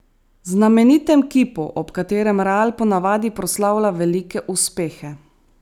Znamenitem kipu, ob katerem Real po navadi proslavlja velike uspehe.